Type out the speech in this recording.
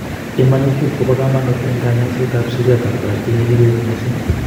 Imanitib ko bo kamanut en kanyoiset ab seriat ab korotik nekikoyet missing